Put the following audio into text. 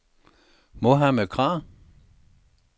Mohamed Krag